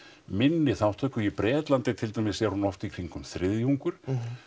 minni þátttöku í Bretlandi til dæmis er hún oft í kringum þriðjungur